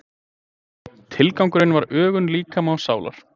Tilgangurinn var ögun líkama og sálar.